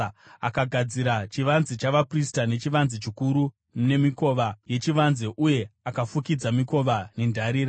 Akagadzira chivanze chavaprista, nechivanze chikuru nemikova yechivanze uye akafukidza mikova nendarira.